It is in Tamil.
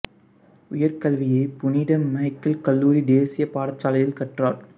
உயர் கல்வியை புனித மிக்கேல் கல்லூரி தேசியப் பாடசாலையில் கற்றார்